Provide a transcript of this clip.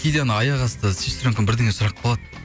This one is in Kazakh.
кейде анау аяқасты сестренкам бірдеңе сұрап қалады